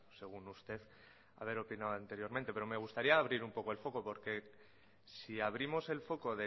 según usted haber opinado anteriormente pero me gustaría abrir un poco el foco porque si abrimos el foco